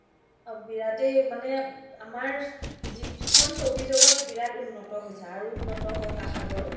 বিৰাতে মানে আমাৰ যিখন চবি জগতখন বিৰাত উন্নত হৈছে আৰু উন্নত হওক আশা কৰো